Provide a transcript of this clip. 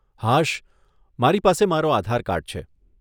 હાશ, મારી પાસે મારો આધાર કાર્ડ છે.